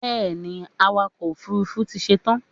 Bẹ́ẹ̀ni, awakọ̀ òfurufú ti ṣetán